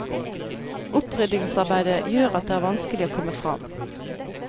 Oppryddingsarbeidet gjør at det er vanskelig å komme fram.